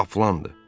Qaplandır.